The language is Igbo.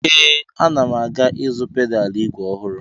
Ee, ana m aga ịzụ pedalụ ígwè ọhụrụ.